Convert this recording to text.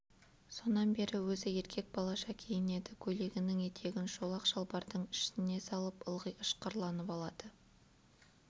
сонан бері өзі еркек балаша киінеді көйлегінің етегін шолақ шалбардың ішіне салып ылғи ышқырланып алады